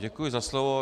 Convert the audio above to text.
Děkuji za slovo.